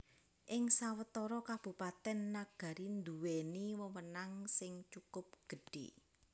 Ing sawetara Kabupatèn Nagari nduwèni wewenang sing cukup gedhé